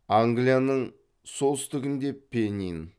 англияның солтүстігінде пеннин